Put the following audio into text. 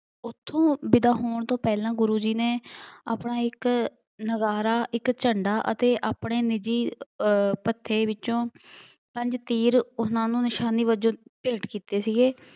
ਉੱਥੋ ਵਿਦਾ ਹੋਣ ਤੋਂ ਪਹਿਲਾਂ ਗੁਰੂ ਜੀ ਨੇ ਆਪਣਾ ਇੱਕ ਨਗਾਰਾ, ਇੱਕ ਝੰਡਾ ਅਤੇ ਆਪਣੇ ਨਿੱਜੀ ਅਰ ਭੱਤੇ ਵਿੱਚੋਂ ਪੰਜ ਤੀਰ ਉਹਨਾ ਨੂੰ ਨਿਸ਼ਾਨੀ ਵਜੋਂ ਭੇਂਟ ਕੀਤੇ ਸੀਗੇ।